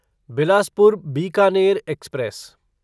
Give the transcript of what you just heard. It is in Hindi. बिलासपुर बीकानेर एक्सप्रेस